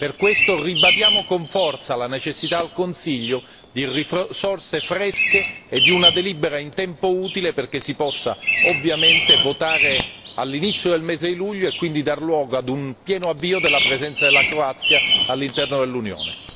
Per questo ribadiamo con forza la necessità al Consiglio di risorse fresche e di una delibera in tempo utile perché si possa ovviamente votare all'inizio del mese di luglio e quindi dar luogo a un pieno avvio della presenza della Croazia all'interno dell'Unione!